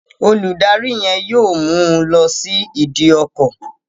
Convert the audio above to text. Olùdarí yen yóò mú ọ lọ sí ìdí ọkọ